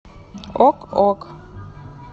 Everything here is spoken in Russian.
ок ок